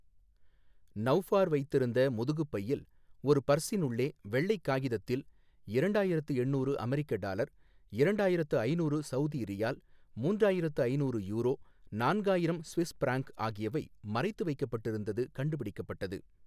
நௌஃபார் வைத்திருந்த முதுகு பையில் ஓர் பர்ஸின் உள்ளே வெள்ளை காகிதத்தில் இரண்டாயிரத்து எண்ணூறு அமெரிக்க டாலர், இரண்டாயிரத்து ஐநூறு சவுதி ரியால், மூன்றாயிரத்து ஐநூறு யூரோ, நான்காயிரம் சுவிஸ் பிராங்க் ஆகியவை மறைத்து வைக்கப்பட்டிருந்தது கண்டுபிடிக்கப்பட்டது.